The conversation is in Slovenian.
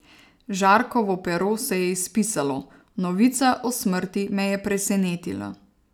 Žarkovo pero se je izpisalo, novica o smrti me je presenetila.